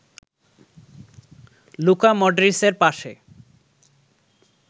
Luka মডরিচের পাসে